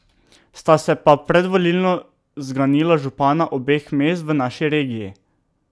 Sta se pa predvolilno zganila župana obeh mest v naši regiji.